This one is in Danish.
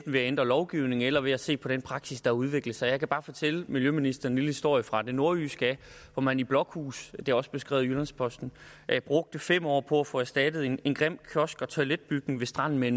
ved at ændre lovgivningen eller ved at se på den praksis der har udviklet sig jeg kan bare fortælle miljøministeren en lille historie fra det nordjyske hvor man i blokhus det er også beskrevet i jyllands posten brugte fem år på at få erstattet en en grim kiosk og toiletbygning ved stranden med